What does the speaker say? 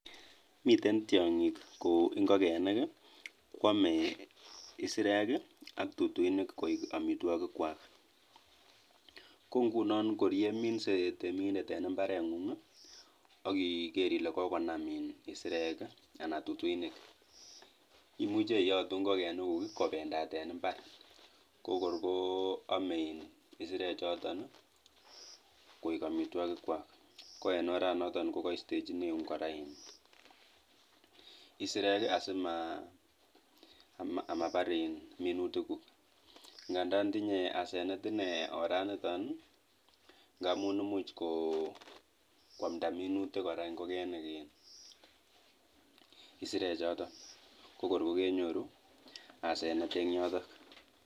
Miten tiong'ik kou ing'okenik kwome isirek ak tutunik koik amitwokikwak, ko ng'unon kor yeminse temindet en imbareng'ung akikere ile kokonam iin isirek anan tutuinik imuche iyotu ingokenikuk kobendat en imbar kokorko ome isirechoton koik amitwokikwak ko en oranoton kokastechineun kora iin isirek asimabar minutikuk, ng'andan tinye asenet inee oraniton ng'amun imuch ko kwamda minutik kora ing'okenik iin isirechoton kokorkokenyoru asenet en yoton.